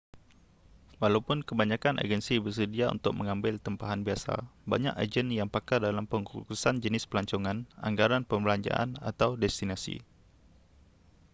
walaupun kebanyakan agensi bersedia untuk mengambil tempahan biasa banyak ejen yang pakar dalam pengkhususan jenis pelancongan anggaran perbelanjaan atau destinasi